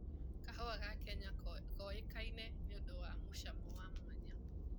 Kahũa ga Kenya koĩkaine nĩũndũ wa mũcamo wa mwanya.